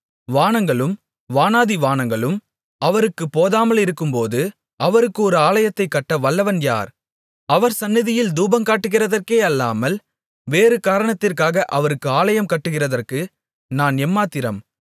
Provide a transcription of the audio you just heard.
வானங்களும் வானாதிவானங்களும் அவருக்குப் போதாமலிருக்கும்போது அவருக்கு ஒரு ஆலயத்தைக் கட்ட வல்லவன் யார் அவர் சந்நிதியில் தூபங்காட்டுகிறதற்கே அல்லாமல் வேறு காரணத்திற்காக அவருக்கு ஆலயம் கட்டுகிறதற்கு நான் எம்மாத்திரம்